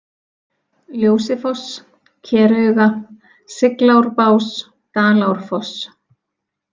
Ljósifoss, Kerauga, Siglárbás, Dalárfoss